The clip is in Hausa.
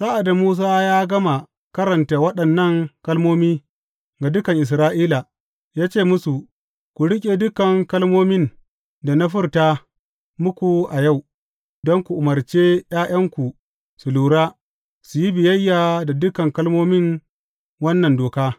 Sa’ad da Musa ya gama karanta waɗannan kalmomi ga dukan Isra’ila, ya ce musu, Ku riƙe dukan kalmomin da na furta muku a yau, don ku umarce ’ya’yanku su lura, su yi biyayya da dukan kalmomin wannan doka.